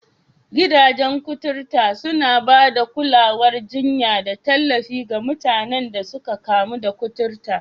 Gidajen kuturta suna ba da kulawar jinya da tallafi ga mutanen da suka kamu da kuturta